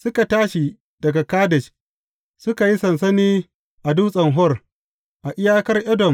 Suka tashi daga Kadesh, suka yi sansani a Dutsen Hor, a iyakar Edom.